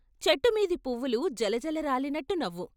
చెట్టు మీది పువ్వులు జలజల రాలినట్టు నవ్వు.